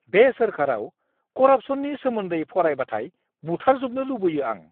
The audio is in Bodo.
बे सोरखाराव करापस'ननि सोमोन्दै फरायबाथाय बुथारजोबनो लुबैयो आं!